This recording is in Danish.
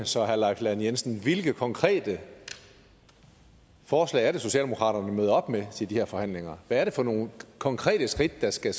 så herre leif lahn jensen hvilke konkrete forslag er det socialdemokraterne møder op med til de her forhandlinger hvad er det for nogle konkrete skridt der skal